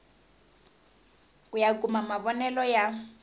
ku ya kuma mavonele ya